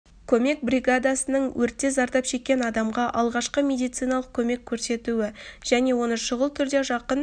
көмек бригадасының өртте зардап шеккен адамға алғашқы медициналық көмек көрсетуі және оны шұғыл түрде жақын